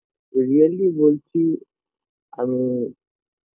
Really বলছি আমি